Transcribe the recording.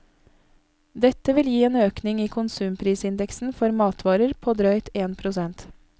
Dette vil gi en økning i konsumprisindeksen for matvarer på drøyt én prosent.